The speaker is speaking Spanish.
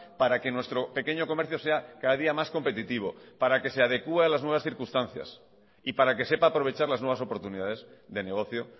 para que nuestro pequeño comercio sea cada día más competitivo para que se adecúe a las nuevas circunstancias y para que sepa aprovechar las nuevas oportunidades de negocio